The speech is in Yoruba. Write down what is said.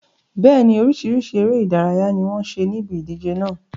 Bẹ́ẹ̀ni, oríṣiríṣi ère ìdárayá ni wọn ṣe níbi ìdíje náà